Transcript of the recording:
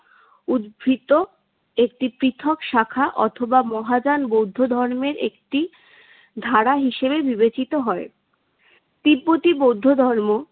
উদ্ভৃত একটি পৃথক শাখা অথবা মহাযান বৌদ্ধ ধর্মের একটি ধারা হিসেবে বিবেচিত হয়। তিব্বতি বৌদ্ধ ধর্ম